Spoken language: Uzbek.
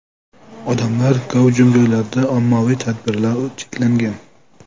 Odamlar gavjum joylarda ommaviy tadbirlar cheklangan .